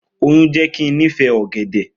Oyun jẹ ki n nifẹ ogede.